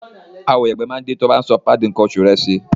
Àwo ìyàgbẹ́ máa dí tí o bá ń sọ páàdì nǹkan oṣù rẹ sí i.